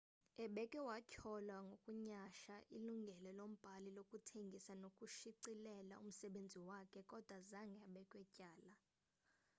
ebekhe watyholwa ngokunyhasha ilungelo lombhali lokuthengisa nokushicilela umsebenzi wakhe kodwa zange abekwe tyala